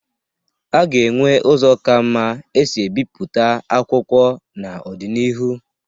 A ga-enwe ụzọ ka mma e si ebipụta akwụkwo n'ọdịnihu.